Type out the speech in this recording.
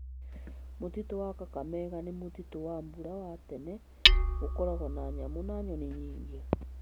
Mũtitũ wa Kakamega nĩ mũtitũ wa mbura wa tene, ũkoragwo na nyamũ na nyoni nyingĩ.